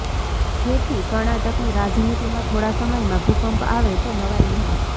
જેથી કર્ણાટકની રાજનીતિમાં થોડા સમયમાં ભૂકંપ આવે તો નવાઈ નહીં